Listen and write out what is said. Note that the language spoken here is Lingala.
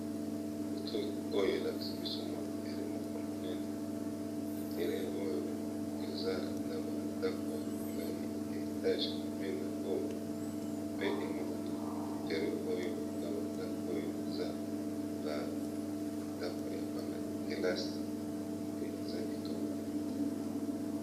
Côté oyo elakisi biso mwa terrain moko monene terrain oyo eza na bandako ya molayi ya etage pembeni na yango pe emonani terrain oyo na bandako oyo eza bandako ya bana kelasi pe eza kitoko penza